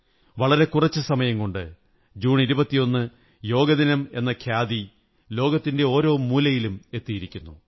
വളരെ കുറച്ചു സമയം കൊണ്ട് ജൂൺ 21 യോഗദിനമെന്ന ഖ്യാതി ലോകത്തിന്റെ ഓരോ മൂലയിലും എത്തിയിരിക്കുന്നു